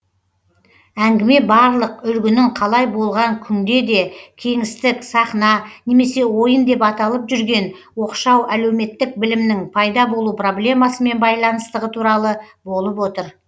әңгіме барлық үлгінің қалай болған күнде де кеңістік сахна немесе ойын деп аталып жүрген оқшау әлеуметтік білімнің пайда болу проблемасымен байланыстығы туралы болып отыр